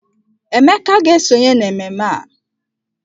Emeka ga-esonye n'ememme a.